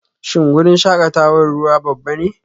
Shin wurin shakatawar ruwa babba ne?